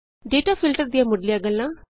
data filter ਦੀਆ ਮੁੱਢਲੀਆਂ ਗੱਲਾਂ